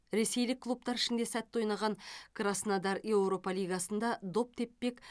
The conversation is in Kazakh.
ресейлік клубтар ішінде сәтті ойнаған краснодар еуропа лигасында доп теппек